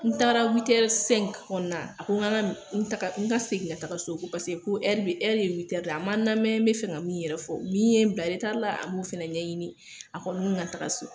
N taara witɛri sɛngi kɔnɔna na, a ko n ka n ka minɛ nana n ka segin ka taga so ko paseke ko ɛri ye witɛri de ye, a ma n lamɛn n bɛ fɛ ka min yɛrɛ fɔ min ye bila la a m'o fana ɲɛɲini, a ko n ka taga so!